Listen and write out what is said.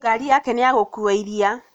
Ngari yake nĩ ya gũkua iria